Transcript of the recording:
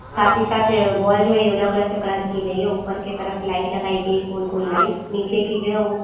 साथ ही साथे ये वोल जो है येलो कलर से कलर की गयी हैं। ऊपर क तरफ लाइट लगाई गयी है गोल-गोल लाइट निचे की जो है वो --